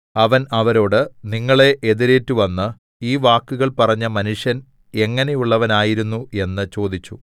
അവൻ അവരോട് നിങ്ങളെ എതിരേറ്റുവന്ന് ഈ വാക്കുകൾ പറഞ്ഞ മനുഷ്യൻ എങ്ങനെയുള്ളവനായിരുന്നു എന്ന് ചോദിച്ചു